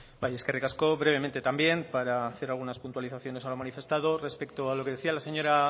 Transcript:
eskerrik asko brevemente también para hacer algunas puntualizaciones a lo manifestado respecto a lo que decía la señora